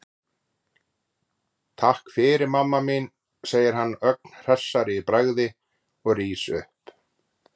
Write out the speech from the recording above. Takk fyrir, mamma mín, segir hann ögn hressari í bragði og rís upp.